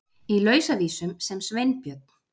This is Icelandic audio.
Í Lausavísum sem Sveinbjörn